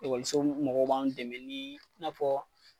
Ekɔliso mɔgɔ b'an dɛmɛ ni i n'afɔ